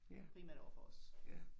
Primært overfor os